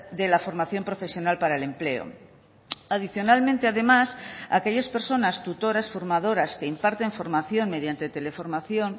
de la formación profesional para el empleo adicionalmente además aquellas personas tutoras formadoras que imparten formación mediante teleformación